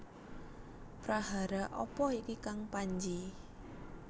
Prahara apa iki Kang Panji